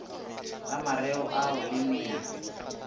la mareo ao le metšwe